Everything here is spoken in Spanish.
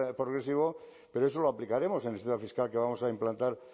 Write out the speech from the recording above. progresivo pero eso lo aplicaremos en el sistema fiscal que vamos a implantar